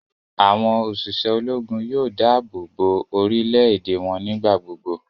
Awọn oṣiṣẹ Ológùn yóò dáàbòbo orílè-èdè wọn nigbagbogbo